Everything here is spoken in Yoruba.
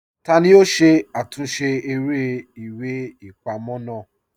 Tani yoo ṣe àtúnsẹ̀ èrè ìwé-ìpamọ́ naa?